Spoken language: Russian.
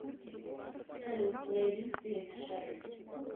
салют плейлист перемешай